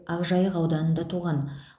ақжайық ауданында туған